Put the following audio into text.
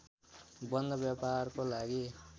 बन्द व्यापारको लागि